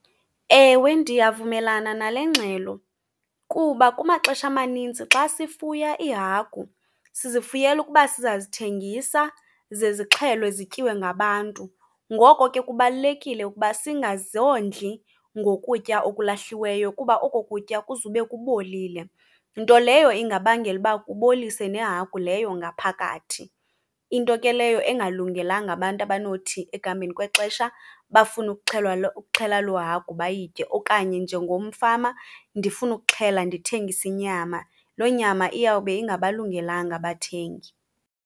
Ewe, ndiyavumelana nale ngxelo kuba kumaxesha amanintsi xa sifuya iihagu sizifuyela ukuba sizasithengisa ze zixhelwe zityiwe ngabantu. Ngoko ke kubalulekile ukuba singazondli ngokutya okulahliweyo kuba oko kutya kuzube kubolile, nto leyo ingabangela uba kubolise nehagu leyo ngaphakathi. Into ke leyo engalungelanga abantu abanothi ekuhambeni kwexesha bafune ukuxhelwa , ukuxhela loo hagu bayitye. Okanye njengomfama ndifuna ukuxhela, ndithengise inyama, loo nyama iyawube ingabalungelanga abathengi.